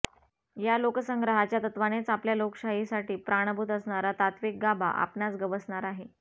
या लोकसंग्रहाच्या तत्त्वानेच आपल्या लोकशाहीसाठी प्राणभूत असणारा तात्त्विक गाभा आपणास गवसणार आहे